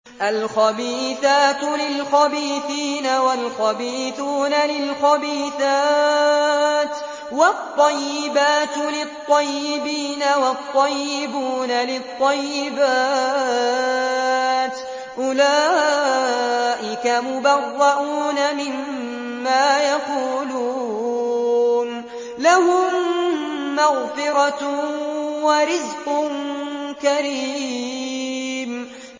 الْخَبِيثَاتُ لِلْخَبِيثِينَ وَالْخَبِيثُونَ لِلْخَبِيثَاتِ ۖ وَالطَّيِّبَاتُ لِلطَّيِّبِينَ وَالطَّيِّبُونَ لِلطَّيِّبَاتِ ۚ أُولَٰئِكَ مُبَرَّءُونَ مِمَّا يَقُولُونَ ۖ لَهُم مَّغْفِرَةٌ وَرِزْقٌ كَرِيمٌ